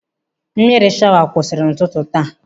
Mmiri shawa kwụsịrị n'ụtụtụ taa.